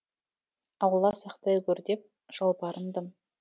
алла сақтай гөр деп жалбарындым